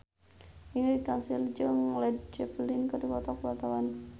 Ingrid Kansil jeung Led Zeppelin keur dipoto ku wartawan